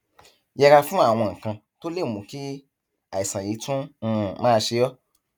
yẹra fún àwọn nǹkan tó lè mú kí àìsàn yìí tún um máa ṣe ọ